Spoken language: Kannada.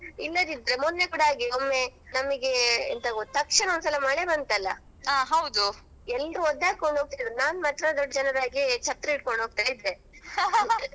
ಇಲ್ಲದಿದ್ರೆ ಮೊನ್ನೆಕೂಡ ಹಾಗೆ ಒಮ್ಮೆ ನಮಿಗೆ ಎಂತ ಗೊತ್ತಾ ತಕ್ಷಣ ಒಂದ್ಸಲ ಮಳೆ ಬಂತಲ್ಲಾ ಎಲ್ರು ಒದ್ದೆಯಾಕೊಂಡು ಹೋಗತಿದ್ರು ನಾನು ಮಾತ್ರ ದೊಡ್ಡ ಜನದಾಗೆ ಛತ್ರಿ ಹಿಡ್ಕೊಂಡು ಹೋಗ್ತಾ ಇದ್ದೆ.